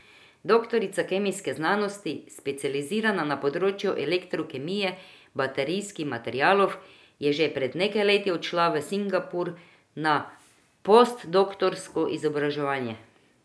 Doktorica kemijskih znanosti, specializirana na področju elektrokemije baterijskih materialov, je že pred nekaj leti odšla v Singapur na postdoktorsko izobraževanje.